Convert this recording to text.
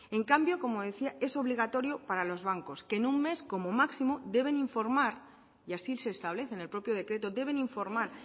en cambio como decía es obligatorio para los bancos que en un mes como máximo deben informar y así se establece en el propio decreto deben informar